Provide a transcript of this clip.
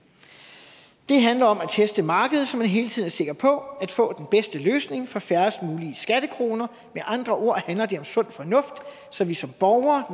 det handler om at teste markedet så man hele tiden er sikker på at få den bedste løsning for færrest mulige skattekroner med andre ord handler det om sund fornuft så vi som borgere